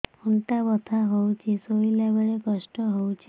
ଅଣ୍ଟା ବଥା ହଉଛି ଶୋଇଲା ବେଳେ କଷ୍ଟ ହଉଛି